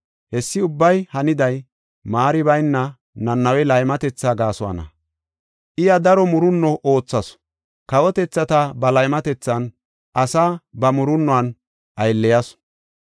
Hessi ubbay haniday maari bayna Nanawe laymatetha gaasuwana. I daro murunno oothasu; kawotethata ba laymatethan, asaa ba murunnuwan aylleyasu.